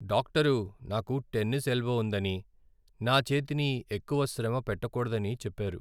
Doctor నాకు tennis elbow ఉందని, నా చేతిని ఎక్కువ శ్రమ పెట్టకూడదని చెప్పారు.